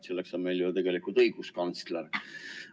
Selleks on meil ju tegelikult õiguskantsler.